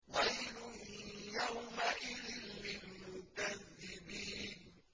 وَيْلٌ يَوْمَئِذٍ لِّلْمُكَذِّبِينَ